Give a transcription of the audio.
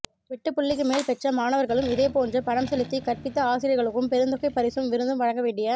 வெட்டுப்புள்ளிக்குமேல் பெற்ற மாணவர்களும் இதேபோன்று பணம்செலுத்தி கற்பித்தஆசிரியர்களுக்கும் பெருந்தொகை பரிசும் விருந்தும் வழங்கவேண்டிய